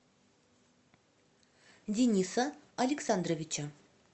дениса александровича